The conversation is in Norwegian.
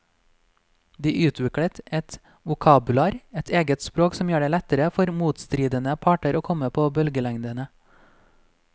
De utviklet et vokabular, et eget språk som gjør det lettere for motstridende parter å komme på bølgelengde.